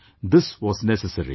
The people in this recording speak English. This was necessary